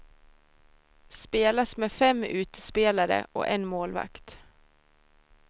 Spelas med fem utespelare och en målvakt.